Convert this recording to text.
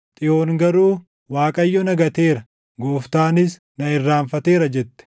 Xiyoon garuu, “ Waaqayyo na gateera; Gooftaanis na irraanfateera” jette.